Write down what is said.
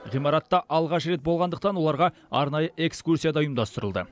ғимаратта алғаш рет болғандықтан оларға арнайы экскурсия да ұйымдастырылды